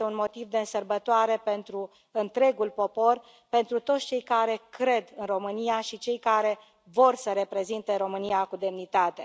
Este un motiv de sărbătoare pentru întregul popor, pentru toți cei care cred în România și cei care vor să reprezinte România cu demnitate.